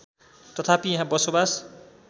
तथापि यहाँ बसोवास